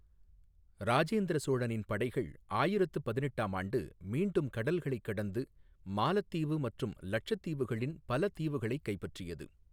ராஜேந்திர சோழனின் படைகள் ஆயிரத்து பதினெட்டாம் ஆண்டு மீண்டும் கடல்களைக் கடந்து, மாலத்தீவு மற்றும் லட்சத்தீவுகளின் பல தீவுகளைக் கைப்பற்றியது.